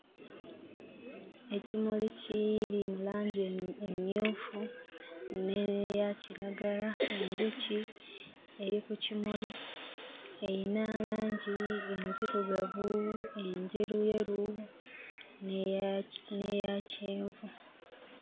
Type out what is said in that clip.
Ekimuli kiiri mu langi emmyu... emmyufu n'eyaakiragala enjuki eri ku kimuli eyina langi enzirugavu, enjeruyeru, n'eyaki..n'eyakyenvu.